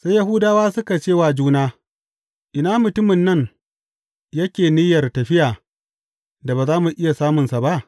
Sai Yahudawa suka ce wa juna, Ina mutumin nan yake niyyar tafiya da ba za mu iya samunsa ba?